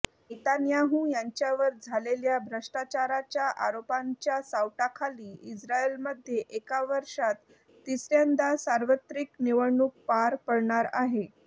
Netanyahu यांच्यावर झालेल्या भ्रष्टाचाराच्या आरोपांच्या सावटाखाली इस्रायलमध्ये एका वर्षात तिसऱयांदा सार्वत्रिक निवडणूक पार पडणार आहे